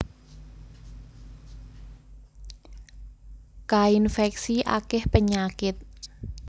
Kainfèksi akèh penyakit